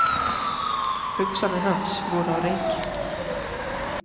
Hugsanir hans voru á reiki.